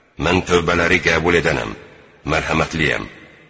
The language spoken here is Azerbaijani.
Mən tövbələri qəbul edənəm, mərhəmətliyəm.